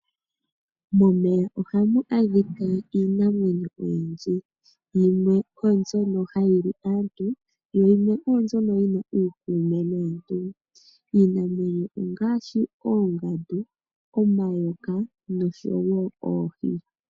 Momeya ohamu adhika iinamwenyo oyindji. Yimwe oyo mbyono hayi li aantu yo yimwe oyo mbyono yi na uukuume naantu. Iinamwenyo ongaashi, oongandu, omayoka nosho oohi.